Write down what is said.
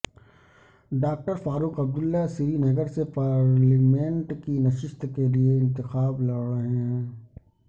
doctor Farooq Abdullah Srinagar سے parliament کی نشست کے لیے انتخاب لڑ رہے ہیں